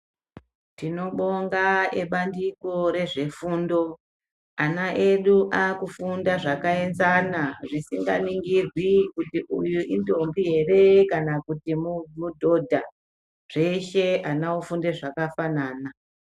Tinobonga ebandiko rezvefundo, ana edu aakufunda zvakaenzana zvisikaningirwi kuti uyu indombi ere kana kuti mudhodha, zveshe ana ofunde zvakafanana.